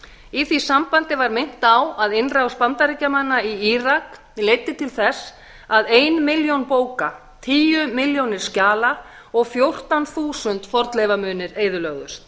í því sambandi var minnt á að innrás bandaríkjanna í írak leiddi til þess að ein milljón bóka tíu milljónir skjala og fjórtán þúsund fornleifamunir eyðilögðust